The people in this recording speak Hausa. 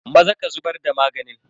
Maza ka zubar da maganin.